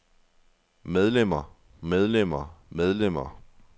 medlemmer medlemmer medlemmer